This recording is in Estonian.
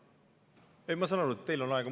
Ei, ma saan aru, et teil on aega.